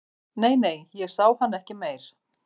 Nei, nei, ég sá hann ekki meir